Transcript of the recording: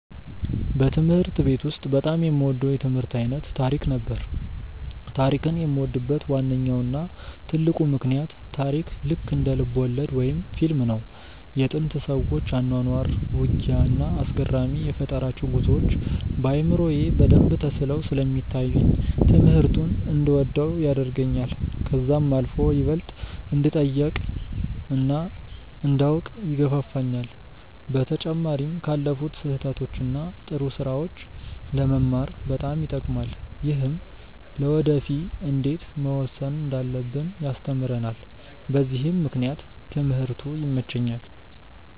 በትምህርት ቤት ውስጥ በጣም የምወደው የትምህርት አይነት ታሪክ ነበር። ታሪክን የምወድበት ዋነኛው እና ትልቁ ምክንያት ታሪክ ልክ እንደ ልብወለድ ወይም ፊልም ነው። የጥንት ሰዎች አኗኗር፣ ውጊያ፣ እና አስገራሚ የፈጠራ ጉዞዎች በአእምሮዬ በደንብ ተስለው ስለሚታዩኝ ትምህርቱን እንድወደው ያደርገኛል። ከዛም አልፎ ይበልጥ እንድጠይቅ እና እንዳውቅ ይገፋፋኛል። በተጨማሪም ካለፉት ስህተቶች እና ጥሩ ስራዎች ለመማር በጣም ይጠቅማል። ይህም ለወደፊ እንዴት መወሰን እንዳለብን ያስተምረናል በዚህም ምክንያት ትምህርቱ ይመቸኛል።